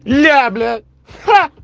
ля бля ха